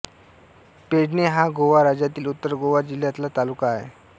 पेडणे हा गोवा राज्यातील उत्तर गोवा जिल्ह्यातला तालुका आहे